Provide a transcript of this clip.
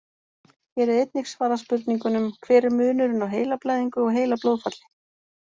Hér er einnig svarað spurningunum: Hver er munurinn á heilablæðingu og heilablóðfalli?